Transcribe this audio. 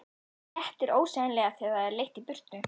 Léttir ósegjanlega þegar það er leitt í burtu.